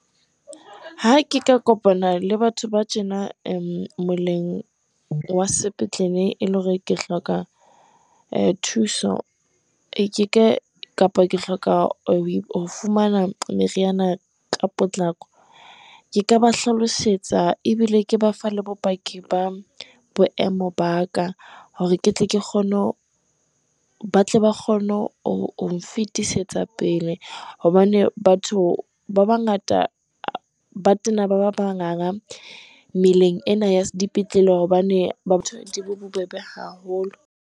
Ha ke ka kopana le batho ba tjena moleng wa sepetlele. E le hore ke hloka thuso ke ka kapa, ke hloka ho fumana meriana ka potlako. Ke ka ba hlalosetsa ebile ke ba fa le bopaki ba boemo ba ka, hore ke tle ke kgone, hore ba tle ba kgone hong fetisetsa pele, hobane batho ba bangata ba tena ba ba manganga meleng ena ya dipetlele, hobane ba batho di bobebe haholo.